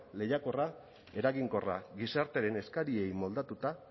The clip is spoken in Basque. lehiakorra eraginkorra gizartearen eskariei moldatuta